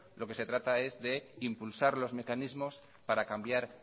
lo que se trata es de impulsar los mecanismos para cambiar